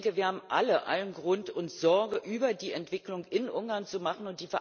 Wir haben alle allen Grund, uns Sorgen über die Entwicklung in Ungarn zu machen.